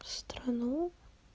страну